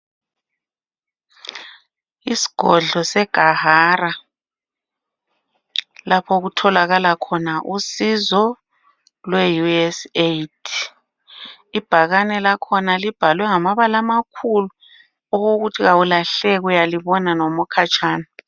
Isgodlo seGahara laphokutholakala khona usizo lwe USAID. Ibhakane lakhona libhalwe ngamabala amakhulu okokuthi kawulahleki uyalibona nomukhatshana.